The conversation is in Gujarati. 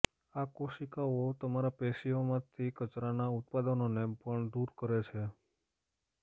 આ કોશિકાઓ તમારા પેશીઓમાંથી કચરાના ઉત્પાદનોને પણ દૂર કરે છે